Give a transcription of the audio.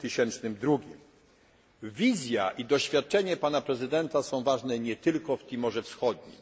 w roku 2002. Wizja i doświadczenie pana prezydenta są ważne nie tylko w Timorze Wschodnim.